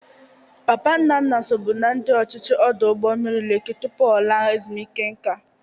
Papa Nnanna sobu na ndị ọchịchị ọdụ ụgbọ mmiri Leki tupu ọ laa ezumeike nka.